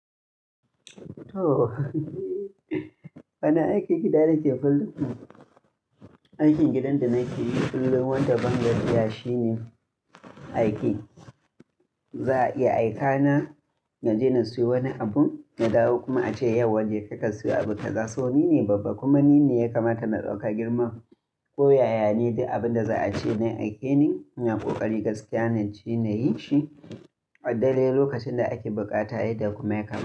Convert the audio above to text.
To, Wani aikin gida nike fallun Aikin gidan da nake yi kullum wanda bangajiya shine aike Za a iya aika na na je na siyo wani abun, na dawo kuma a ce "yau wa jeka ka siyo abu Kaza sau ni ne babba kuma ni ne ya kamata na ɗauka girman. Ko yaya ne duk abin da za a ce na aike ne, ina ƙoƙari gaskiya na je na yi shi. Adaidai lokacin da ake buƙata yan da kuma yakamata.